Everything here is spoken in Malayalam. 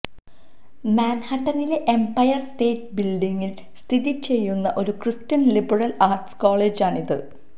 മാൻഹാട്ടനിലെ എംപയർ സ്റ്റേറ്റ് ബിൽഡിങ്ങിൽ സ്ഥിതി ചെയ്യുന്ന ഒരു ക്രിസ്റ്റ്യൻ ലിബറൽ ആർട്സ് കോളജാണിത്